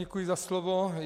Děkuji za slovo.